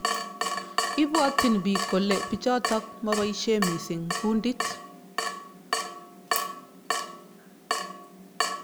Ibwotyin bik kole bichotok maboishe mising kundit.